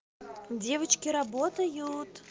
девочки работают